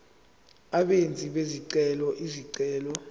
abenzi bezicelo izicelo